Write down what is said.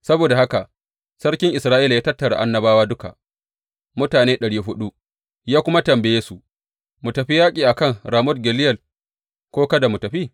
Saboda haka sarkin Isra’ila ya tattara annabawa duka, mutane ɗari huɗu, ya kuma tambaye su, Mu tafi yaƙi a kan Ramot Gileyad ko kada mu tafi?